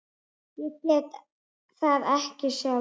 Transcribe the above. Ég gat það ekki sjálf.